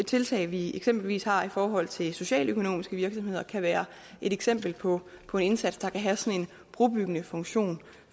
tiltag vi eksempelvis har i forhold til socialøkonomiske virksomheder kan være et eksempel på på en indsats der kan have sådan en brobyggende funktion